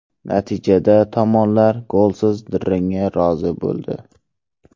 Natijada tomonlar golsiz durangga rozi bo‘ldi.